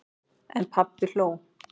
En pabbi hló.